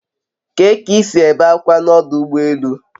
Kee k'isi ebe akwa na odu ugbo elu?